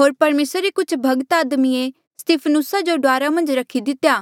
होर परमेसरा रे कुछ भक्त आदमिये स्तिफनुसा जो डुआरा मन्झ रखी दितेया